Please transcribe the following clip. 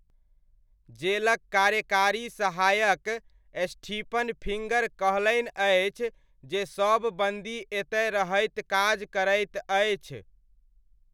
जेलक कार्यकारी सहायक स्टीफन फिङ्गर कहलनि अछि जे सभ बन्दी एतय रहैत काज करैत अछि।